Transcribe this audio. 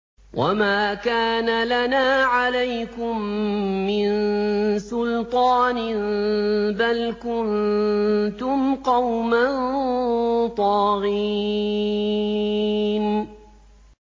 وَمَا كَانَ لَنَا عَلَيْكُم مِّن سُلْطَانٍ ۖ بَلْ كُنتُمْ قَوْمًا طَاغِينَ